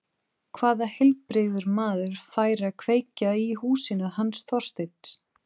Hvaða heilbrigður maður færi að kveikja í húsinu hans Þorsteins?